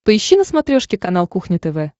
поищи на смотрешке канал кухня тв